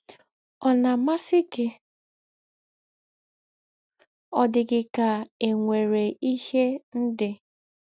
Ọ̀ na - amasị gị? Ọ̀ dị gị ka e nwere ihe ndị